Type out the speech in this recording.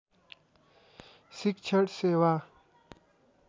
शिक्षण सेवा